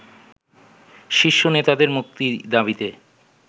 শীর্ষ নেতাদের মুক্তি দাবিতে